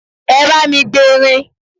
Ẹ bá mi gberin!